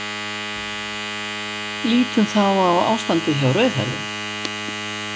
Lítum þá á ástandið hjá rauðhærðum.